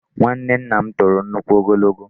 Nwanne nna m toro nnukwu ogologo.